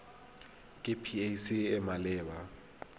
ke pac e e maleba